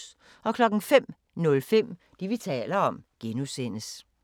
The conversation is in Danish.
05:05: Det, vi taler om (G)